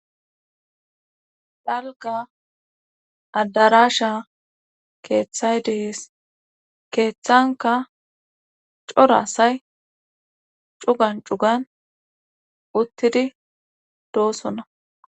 Dalgga adaraasha keethay de7ees keethankka cora asay cugan cugan uttidi doosona.